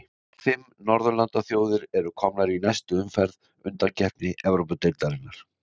Fimm norðurlandaþjóðir eru komnar í næstu umferð undankeppni Evrópudeildarinnar.